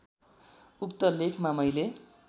उक्त लेखमा मैले